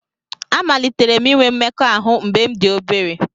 Amalitere m inwe mmekọahụ mgbe m dị obere